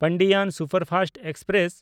Pandian superfast express